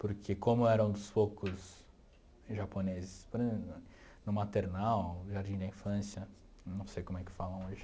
Porque como eu era um dos poucos japoneses, por exemplo, no maternal, no jardim da infância, não sei como é que falam hoje.